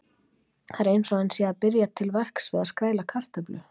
Það er eins og hann sé að byrja til verks við að skræla kartöflu.